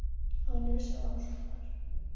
Áður en ég vissi var hann sofnaður.